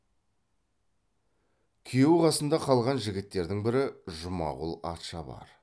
күйеу қасында қалған жігіттердің бірі жұмағұл атшабар